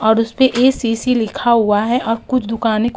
और उस पे एसीसी लिखा हुआ है और कुछ दुकानें --